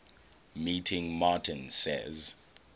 meeting martin says